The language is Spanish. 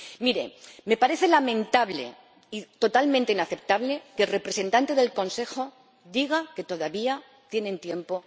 Miren, me parece lamentable, totalmente inaceptable que el representante del Consejo diga que todavía tienen tiempo.